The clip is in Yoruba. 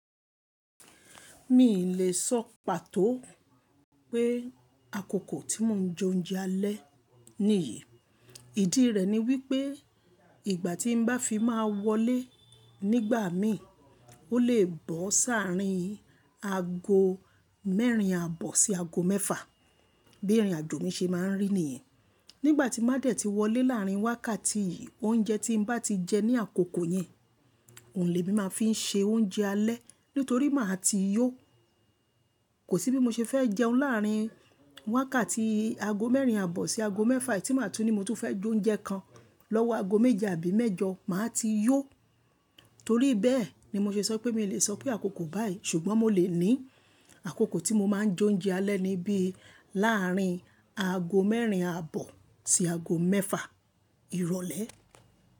Mi ì lè sọ pàtó pé àkókò tí mo ń jẹ oúnjẹ alẹ́ nìyí. Ìdí rẹ̀ ni wípé ìgbà tí n bá fi máa wọlé nígbà mí, ó lè bọ́ sáàrín aago mẹ́rin àbọ̀ sí aago mẹ́fà. Bí ìrìnàjò mi ṣe máa ń rí nìyẹn. Nígbà tin bá dẹ̀ ti wọlé láàrin wákàtí yìí, oúnjẹ tín bá ti jẹ ní àkókò yẹn, òun lèmí máa fi ń ṣe oúnjẹ alẹ́ nítorí máa ti yó. Kò sí bí mo ṣe fẹ́ jẹun láàrin wákàtí aago mẹ́rin àbọ̀ sí aago mẹ́fà, tí màá tú ní mo tún fẹ́ jẹ oúnjẹ kan lọ́wọ́ aago méje àbí mẹ́jọ, màá ti yó. Torí bẹ́ẹ̀ ni mo ṣe sọ pé mi ò lè sọ pé àkókò báyìí. Ṣùgbọ́n mo lè ní àkókò tí mo máa ń jẹ oúnjẹ alẹ́ ni bí láàrin aago mẹ́rin àbọ̀ sí aago mẹ́fà ìrọ̀lẹ́.